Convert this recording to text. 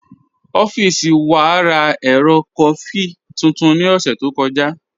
Ọffísì wà rá èrò kọfí tuntun ní ọ̀ṣẹ̀ tó kọja.